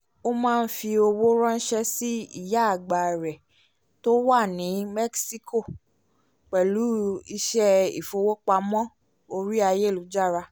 ó máa ń fi owó ránṣẹ́ sí ìyá àgbà rẹ̀ tó wà ní mẹ́síkò pẹ̀lú iṣẹ́ ìfowópamọ́ orí ayélujára